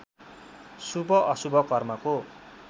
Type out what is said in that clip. शुभ अशुभ कर्मको